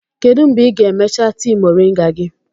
Kedu mgbe ị ga-emecha tii moringa gị?